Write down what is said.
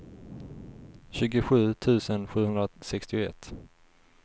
tjugosju tusen sjuhundrasextioett